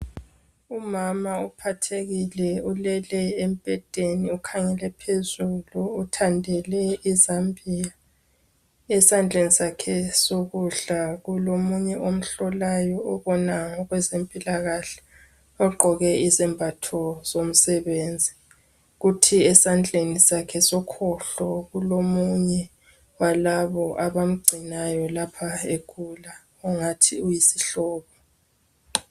Umama ophathekile ulele embedeni ukhangele phezulu uthandele izambiya esandleni sakhe sokudla kulo munye omhlolayo oboma ngokwenze mpilakahle ugqoke izembatho zomsebenzi kuthi esandleni sakhe sokhohlo kulo munye walabo abamgcinayo egula okungathi uyisihlobo